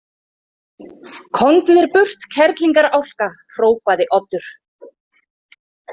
Komdu þér burt, kerlingarálka, hrópaði Oddur.